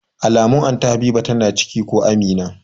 Alamun Anty Habiba tana da ciki ko Amina